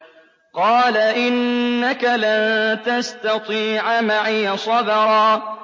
قَالَ إِنَّكَ لَن تَسْتَطِيعَ مَعِيَ صَبْرًا